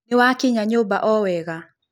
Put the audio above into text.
Nĩwakĩnya nyũmba o wega?